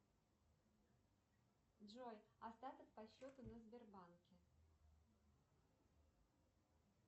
джой остаток по счету на сбербанке